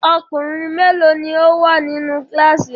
Ọkùnrin mélòó ni ó wà nínú kíláàsì rẹ?